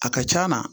A ka c'a na